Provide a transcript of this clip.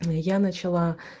я начала